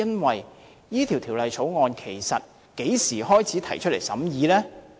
這項《條例草案》其實在何時提交審議呢？